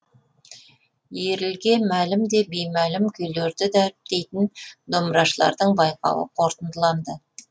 елге мәлім де беймәлім күйлерді дәріптейтін домбырашылардың байқауы қорытындыланды